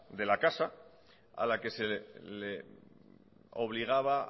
de la casa a la que se le obligaba